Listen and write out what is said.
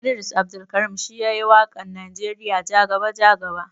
Idris Abdulkarim shi yayi wakan nijeriya jaga-jaga.